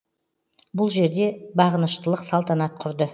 бұл жерде бағыныштылық салтанат құрды